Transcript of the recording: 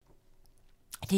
DR2